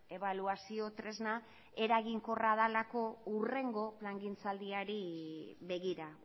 ebaluazio tresna eraginkorra delako hurrengo plangintza aldiari begira